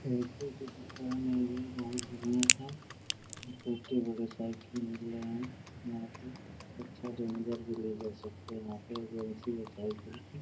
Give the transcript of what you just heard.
Cycle की दुकान है ये बहुत बढ़िया है। छोटे-बड़े साइकिल मिल रहे हैं यहाँ पे । अच्छा रेंजर भी ले जा सकते हैं आके --